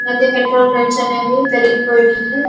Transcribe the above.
ఈ మధ్య petrol rates అనేవి పెరిగిపోయాయి.